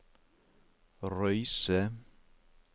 Røyse